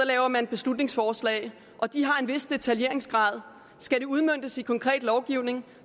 laver man beslutningsforslag og de har en vis detaljeringsgrad skal de udmøntes i konkret lovgivning